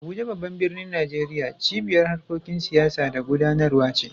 Abuja, babban birnin Najeriya, cibiyar harkokin siyasa da gudanarwa ce.